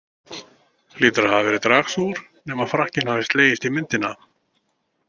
Hlýtur að hafa verið dragsúgur, nema frakkinn hafin slegist í myndina?